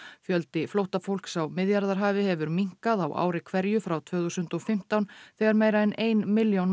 fjöldi flóttafólks á Miðjarðarhafi hefur minnkað á ári hverju frá tvö þúsund og fimmtán þegar meira en ein milljón